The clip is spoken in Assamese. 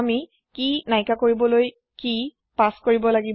আমি কি নাইকিয়া কৰিবলৈ কি পাছ কৰিব লাগে